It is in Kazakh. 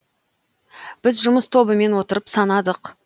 біз жұмыс тобымен отырып санадық